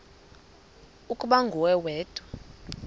ukuba nguwe wedwa